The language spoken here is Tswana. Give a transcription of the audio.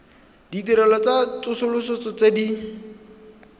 ditirelo tsa tsosoloso tse di